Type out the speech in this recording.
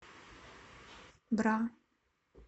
бра